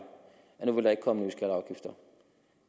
når